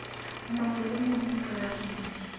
mong le e mong polasing